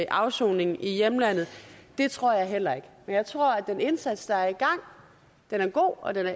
afsoning i hjemlandet det tror jeg heller ikke men jeg tror at den indsats der er i gang er god og